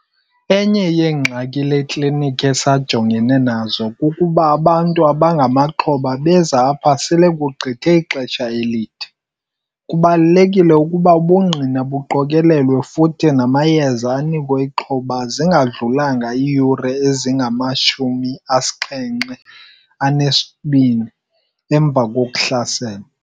Enye yeengxaki le klinikhi esajongene nazo kukuba abantu abangamaxhoba beza apha sele kugqithe ixesha elide - kubalulekile ukuba ubungqina buqokelelwe futhi namayeza anikwe ixhoba zingadlulanga iiyure ezingama-72 emva kokuhlaselwa.